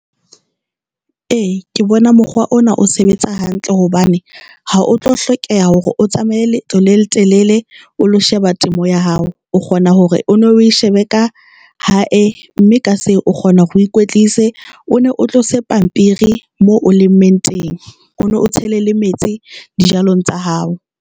E, ke bona mokgwa ona o sebetsa hantle hobane ha o tlo hlokeha hore o tsamaye letho le letelele o lo sheba temo ya hao, o kgona hore o no e shebe ka hae mme ka se o kgona ho ikwetlise. O ne o tlose pampiri moo, o le mentor eng, O no tseile le metsi dijalong tsa hao.